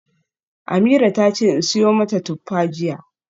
Ameerah tace in siyo mata tuffa jiya.